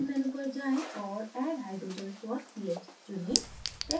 build menu पर जाएँ और add hydrogens for ph चुनें